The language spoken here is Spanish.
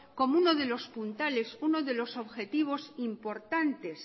como uno de los puntales uno de los objetivos importantes